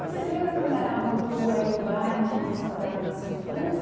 Você lembra como era a rua e o bairro que você morava na sua